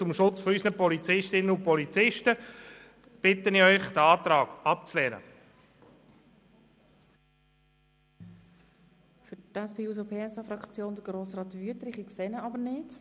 Zum Schutz unserer Polizistinnen und Polizisten bitte ich den Rat, den Antrag abzulehnen.